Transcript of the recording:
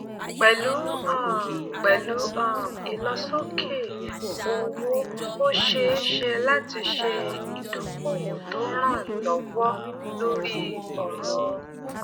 pẹlú um pẹlú um ìlọsókè owó ó ṣeé ṣe láti ṣe ìdókòwò tó ràn lówọ lórí ọrọ